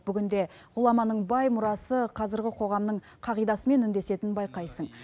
бүгінде ғұламаның бай мұрасы қазіргі қоғамның қағидасымен үндесетінін байқайсың